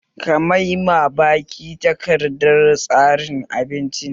Ka mai ma baki takardar tsarin abinci!